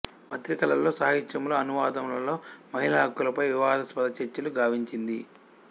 పత్రికలలో సాహిత్యములో అనువాదములలో మహిళా హక్కులపై వివాదాస్పద చర్చలు గావించింది